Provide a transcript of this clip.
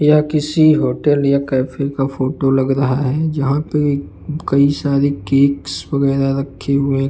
यह किसी होटल या कैफे का फोटो लग रहा है जहां पे कई सारे केक्स वगैरा रखे हुएं --